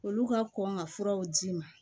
Olu ka kɔn ka furaw d'i ma